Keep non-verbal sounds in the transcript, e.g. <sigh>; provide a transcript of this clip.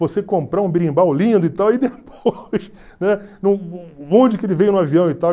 Você comprar um birimbau lindo e tal, e depois <laughs> né? <unintelligible> onde que ele veio no avião e tal?